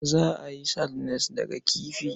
Za a yi sardines daga kifi.